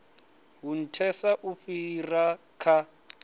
hu nthesa u fhira kha